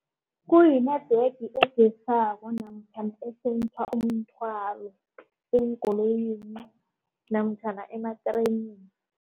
Kuyi-network namkha esensa umthwalo eenkoloyini namtjhana ematrenini.